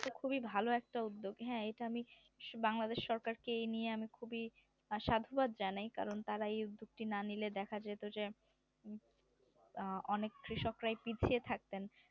এটা তো একটা খুবই ভালো একটা উদ্যোগ হ্যাঁ এটা আমি বাংলাদেশ সরকারকে এ নিয়ে আমি খুবই সাধুবাদ জানাই কারণ তারা এই উদ্যোগ টি না নিলে দেখা যেত যে অ্যাঁ অনেক কৃষকরায় পিছিয়ে থাকতেন